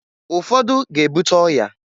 Ụfọdụ ga-ebuta ọya.